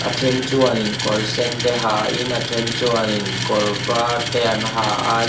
a then chuan in kawr sen te ha in a then chuanin kawr var te an ha a.